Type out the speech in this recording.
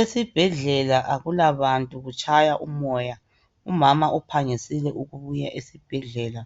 Esibhedlela akulabantu kutshaya umoya, umama uphangisile ukubuya esibhedlela.